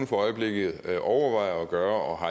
for øjeblikket overvejer at gøre